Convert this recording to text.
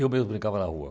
Eu mesmo brincava na rua.